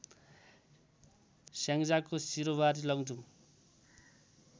स्याङ्जाको सिरुवारी लमजुङ